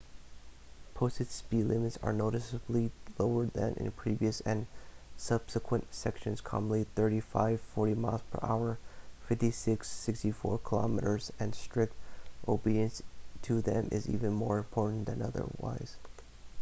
posted speed limits are noticeably lower than in previous and subsequent sections — commonly 35-40 mph 56-64 km/h — and strict obedience to them is even more important than otherwise